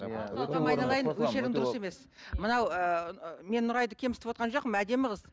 айналайын осы жерің дұрыс емес мынау ы мен нұрайды кемсітіп отырған жоқпын әдемі қыз